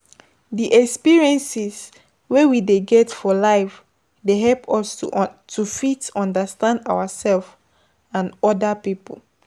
Di experiences wey we dey get for life dey help us to fit understand ourself and oda pipo